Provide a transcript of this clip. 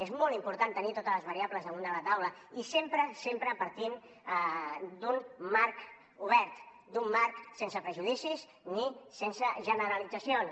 és molt important tenir totes les variables damunt de la taula i sempre sempre partint d’un marc obert d’un marc sense prejudicis ni sense generalitzacions